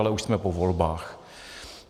Ale už jsme po volbách.